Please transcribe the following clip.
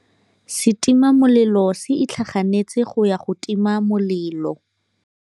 Setima molelô se itlhaganêtse go ya go tima molelô.